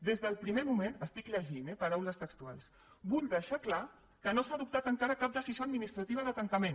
des del primer moment llegeixo eh paraules textuals vull deixar clar que no s’ha adoptat encara cap decisió administrativa de tancament